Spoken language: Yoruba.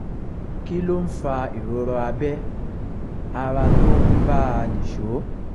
kí ló ń fa ìrora abẹ́ ara tó ń bá a nìṣó?